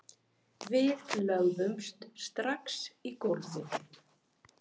Við lögðumst strax í gólfið